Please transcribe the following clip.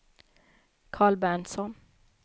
Carl Berntsson